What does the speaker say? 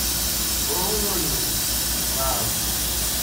Ooyo ngang'.